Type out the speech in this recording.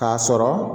K'a sɔrɔ